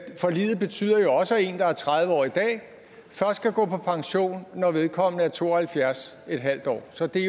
forliget betyder jo også at en der er tredive år i dag først kan gå på pension når vedkommende er to og halvfjerds en halv år så det